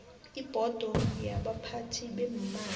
ibhodo yabaphathi beemali